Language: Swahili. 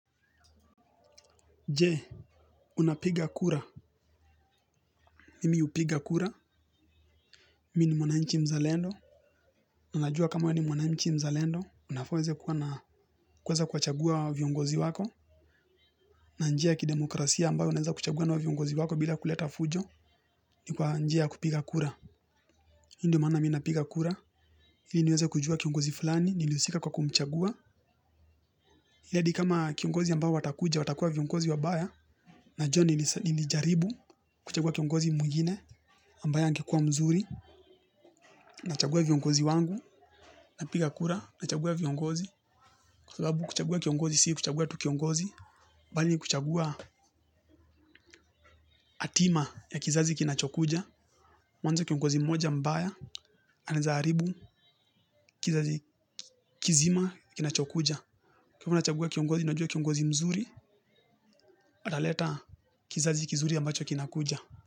Je, unapiga kura? Mimi hupiga kura. Mi ni mwanaichi mzalendo. Ninajua kama we ni mwanainchi mzalendo. Unafaa uweze kuwa na kuweza kuwachagua viongozi wako. Na njia ya kidemokrasia ambayo unaweza kuchagua nayo viongozi wako bila kuleta fujo. Ni kwa njia ya kupiga kura. Hii ndio maana mi napiga kura. Ili niweze kujua kiongozi fulani. Nilihusika kwa kumchagua. Ili hadi kama kiongozi ambayo watakuja, watakuwa viongozi wabaya. Najua nilijaribu kuchagua kiongozi mwingine. Ambaye angekuwa mzuri. Nachagua viongozi wangu napiga kura nachagua viongozi kwa sababu kuchagua kiongozi si kuchagua tu kiongozi bali ni kuchagua atima ya kizazi kinachokuja mwanzo kiongozi moja mbaya anaezaharibu kizazi kizima kinachokuja kwa hivo nachagua kiongozi najua kiongozi mzuri ataleta kizazi kizuri ambacho kinakuja.